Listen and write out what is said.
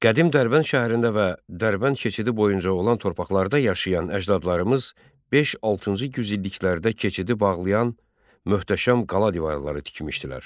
Qədim Dərbənd şəhərində və Dərbənd keçidi boyunca olan torpaqlarda yaşayan əcdadlarımız V-VI yüzilliklərdə keçidi bağlayan möhtəşəm qala divarları tikmişdilər.